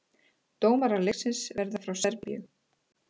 Dómarar leiksins verða frá Serbíu